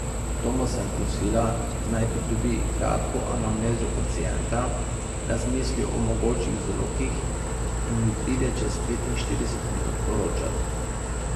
Toma sem prosila, naj pridobi kratko anamnezo pacienta, razmisli o mogočih vzrokih in mi pride čez petinštirideset minut poročat.